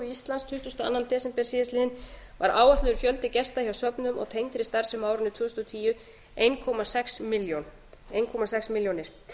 íslands tuttugasta og annan desember síðastliðinn var áætlaður fjöldi gesta hjá söfnum og tengdri starfsemi á árinu tvö þúsund og tíu einn komma sex milljónir